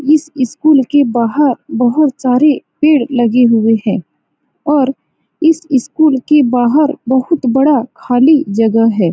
इस स्कूल के बाहर बहुत सारे पेड़ लगे हुए हैं और इस स्कूल के बाहर बहुत बड़ा खाली जगह है।